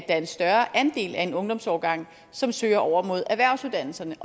er en større andel af en ungdomsårgang som søger over mod erhvervsuddannelserne